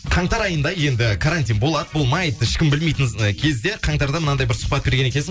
қаңтар айында енді карантин болады болмайды ешкім білмейтін ы кезде қаңтарда мынандай бір сұхбат берген екенсің